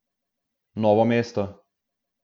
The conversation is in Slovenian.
Novo mesto.